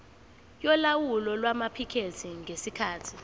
yolawulo lwamaphikethi ngesikhathi